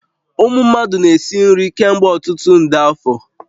Ụmụ mmadụ na-esi nri kemgbe ọtụtụ nde afọ